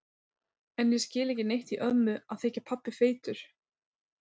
En ég skil ekki neitt í ömmu að þykja pabbi feitur.